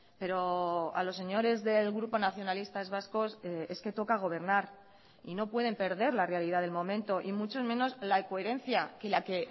pero a los señores del grupo nacionalistas vascos es que toca gobernar y no pueden perder la realidad del momento y mucho menos la coherencia que la que